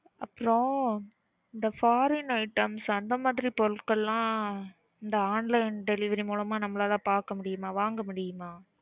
அப்புறம் இந்த foreign items அந்த மாறி பொருட்கள்கலாம் இந்த online delivery மூலமா நம்மளால பார்க்க முடியுமா? வாங்க முடியுமா?